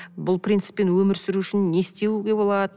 бұл принциппен өмір сүру үшін не істеуге болады